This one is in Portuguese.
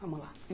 Vamos lá.